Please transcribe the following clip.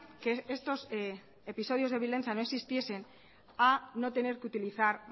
que estos episodios de violencia no existiesen a no tener que utilizar